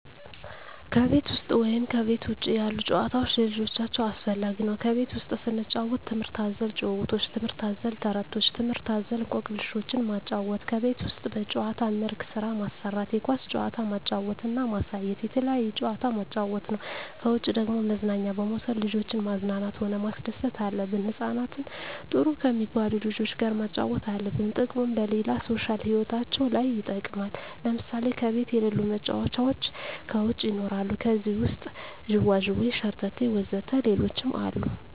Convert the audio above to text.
ከቤት ውሰጥ ወይም ከቤት ውጭ ያሉ ጭዋታዎች ለልጆቻቸው አስፈላጊ ነው ከቤት ውስጥ ስንጫወት ትምህርት አዘል ጫውውቶች ትምህርት አዘል ተረቶች ትምህርት አዘል እኮክልሾችን ማጫወት ከቤት ውስጥ በጭዋታ መልክ ስራ ማሰራት የኳስ ጭዋታ ማጫወት እና ማሳየት የተለያየ ጭዋታ ማጫወት ነው ከውጭ ደግሞ መዝናኛ በመውሰድ ልጆችን ማዝናናት ሆነ ማስደሰት አለብን ህጻናትን ጥሩ ከሜባሉ ልጆች ጋር ማጫወት አለብን ጥቅሙም ለሌላ ሦሻል ህይወታቸው ለይ ይጠቅማል ለምሳሌ ከቤት የለሉ መጫወቻ ከውጭ ይኖራሉ ከዜህ ውሰጥ ጅዋጅዌ ሸረተቴ ወዘተ ሌሎችም አሉ